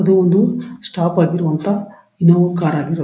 ಇದು ಒಂದು ಸ್ಟಾಫ್ ಆಗಿರುವಂತಹ ಇನ್ನೋವಾ ಕಾರ್ --